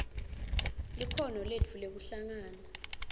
likhono letfu lekuhlangana